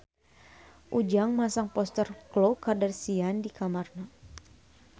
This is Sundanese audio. Ujang masang poster Khloe Kardashian di kamarna